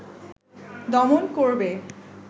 দমন করবে